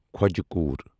خوجہ کوٗر